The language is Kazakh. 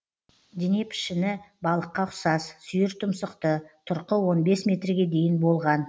дене пішіні балыққа ұқсас сүйір тұмсықты тұрқы он бес метрге дейін болған